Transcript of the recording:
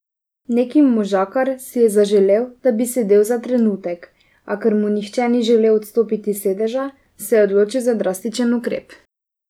Neki možakar si je zaželel, da bi sedel za trenutek, a ker mu nihče ni želel odstopiti sedeža, se je odločil za drastičen ukrep.